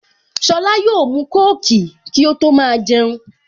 Sola yóò mu kóòkì kí ó tó máa jẹun